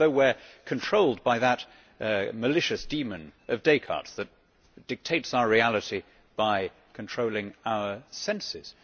It is as though we are controlled by that malicious demon of Descartes that dictates our reality by controlling our senses.